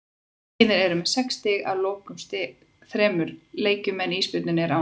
Vængirnir eru með sex stig að loknum þremur leikjum en Ísbjörninn er án stiga.